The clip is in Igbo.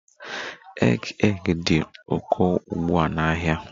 Egg egg dị ụkọ ugbu a n'ahịa